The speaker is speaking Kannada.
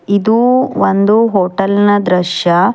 ಇದು ಒಂದು ಹೋಟೆಲ್ ನ ದೃಶ್ಯ.